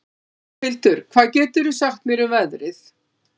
Álfhildur, hvað geturðu sagt mér um veðrið?